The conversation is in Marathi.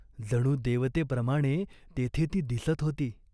जणू देवतेप्रमाणे तेथे ती दिसत होती.